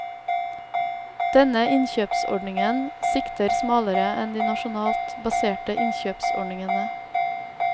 Denne innkjøpsordningen sikter smalere enn de nasjonalt baserte innkjøpsordningene.